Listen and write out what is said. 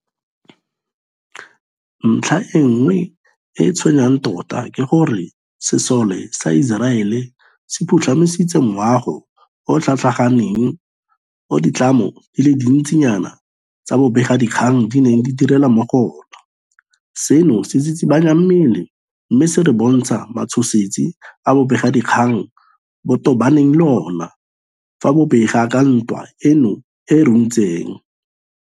Ntlha e nngwe e e tshwenyang tota ke gore sesole sa Iseraele se phutlhamisitse moago o o tlhatlhaganeng o ditlamo di le dintsinyana tsa bobegakgang di neng di direla mo go ona, seno se tsitsibanya mmele mme se re bontsha matshosetsi a bobegakgang bo tobanang le ona fa bo bega ka ntwa eno e e runtseng.